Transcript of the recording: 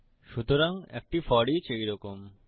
সুতরাং একটি ফোরিচ এই রকম